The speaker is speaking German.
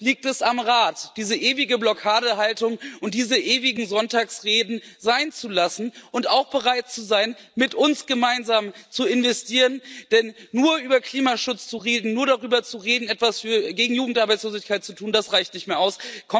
Und jetzt liegt es am Rat, diese ewige Blockadehaltung und diese ewigen Sonntagsreden sein zu lassen und auch bereit zu sein, mit uns gemeinsam zu investieren. Denn nur über Klimaschutz zu reden, nur darüber zu reden, etwas gegen Jugendarbeitslosigkeit zu tun, das reicht nicht mehr aus.